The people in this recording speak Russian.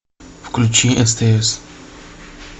включи стс